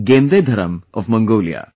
Gendedharam of Mongolia